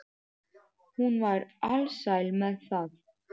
Hún var alsæl með það.